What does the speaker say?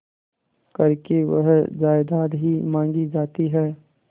करके वह जायदाद ही मॉँगी जाती है